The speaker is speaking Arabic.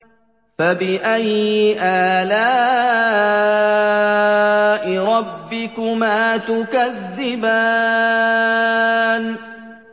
فَبِأَيِّ آلَاءِ رَبِّكُمَا تُكَذِّبَانِ